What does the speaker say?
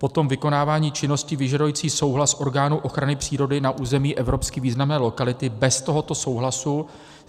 Potom vykonávání činnosti vyžadující souhlas orgánů ochrany přírody na území evropsky významné lokality bez tohoto souhlasu.